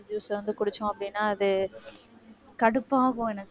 juice வந்து குடிச்சோம் அப்படின்னா அது கடுப்பாகும் எனக்கு